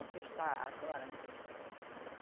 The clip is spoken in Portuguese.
O que está agora, né?